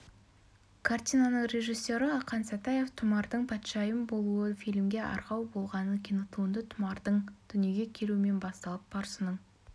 картинаның режиссері ақан сатаев тұмардың патшайым болуы фильмге арқау болғанын кинотуынды тұмардың дүниеге келуімен басталып парсының